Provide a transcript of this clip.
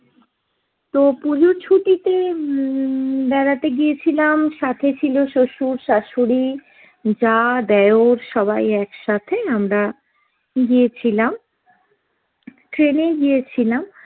তো পুজোর ছুটিতে উম বেড়াতে গিয়েছিলাম, সাথে ছিল শ্বশুর, শাশুড়ি, জা, দেওর সবাই একসাথে আমরা গিয়েছিলাম, train এ গিয়েছিলাম।